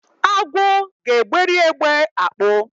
Agwo ga-egberi egbe akpụ.